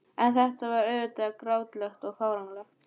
En þetta var auðvitað grátlegt og fáránlegt.